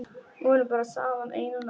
Vorum bara saman eina nótt.